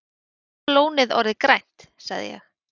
Bláa lónið orðið grænt? sagði ég.